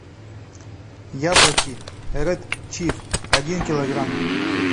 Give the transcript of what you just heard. яблоки ред чиф один килограмм